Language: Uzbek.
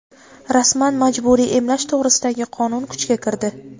Rasman: majburiy emlash to‘g‘risidagi qonun kuchga kirdi.